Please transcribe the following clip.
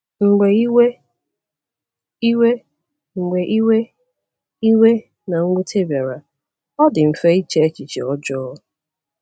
Mgbe iwe iwe Mgbe iwe iwe na mwute bịara, ọ dị mfe iche echiche ọjọọ.